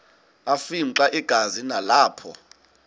afimxa igazi nalapho